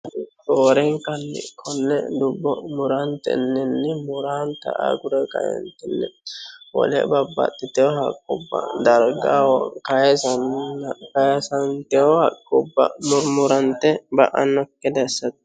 Roorenkanni konne dubbo muraante illinni muraanta agure qaintinni wole babbaxxiteho haqqubba dargaho kayisanna kayisanteho haqqubba murmurante ba'annokke daissato